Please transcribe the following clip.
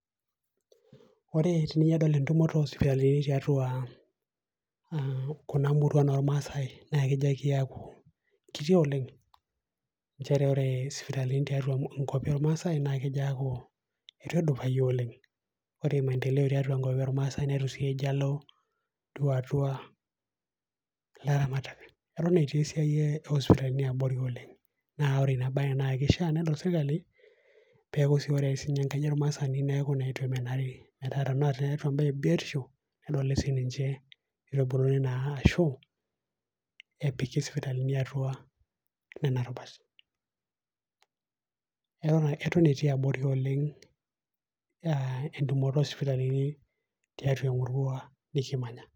woore enidol entumoto oosipitalini tiatua kuna muruan na kuti oleng' njere wore sipitalini tiatua ilmaasai itu edupayu oleng, wore maendeleo eton itu elo atua laramatak eton etii esiana osipitalini abori tiatua ilmaasai, wore nabaye nakishaa pedol sirkali pekuu sii wore enkaji olmaasani neaku itu emenari metaa ene tembaye ibiotisho nedoli sinije arashu epiki sipitalini nena rubat. Eton etii abori oleng' entumoto osipitalini tmeurua nikimanya